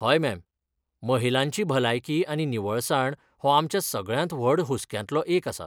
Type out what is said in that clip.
हय, मॅम, महिलांची भलायकी आनी निवळसाण हो आमच्या सगळ्यांत व्हड हुसक्यांतलो एक आसा.